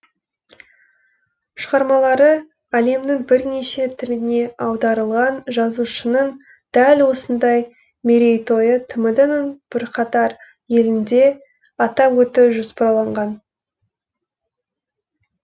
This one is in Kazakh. шығармалары әлемнің бірнеше тіліне аударылған жазушының дәл осындай мерейтойы тмд ның бірқатар елінде атап өту жоспарланған